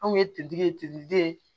Anw ye kiletigi ye tigiden ye